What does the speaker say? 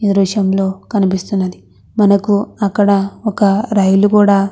ఈ దృశ్యంలో కనిపిస్తున్నది మనకు అక్కడ ఒక రైలు కుడా--